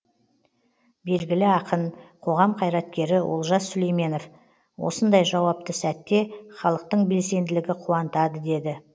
белгілі ақын қоғам қайраткері олжас сүлейменов осындай жауапты сәтте халықтың белсенділігі қуантады деді